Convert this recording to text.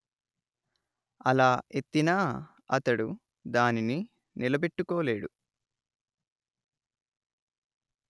అలా ఎత్తినా అతడు దానిని నిలబెట్టుకోలేడు